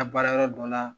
Ka baara yɔrɔ dɔ la